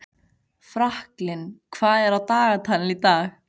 Franklin, hvað er á dagatalinu í dag?